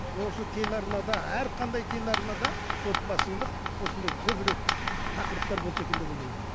осы телеарнада әрқандай телеарнада осындай көбірек тақырыптар болса екен деп ойлаймын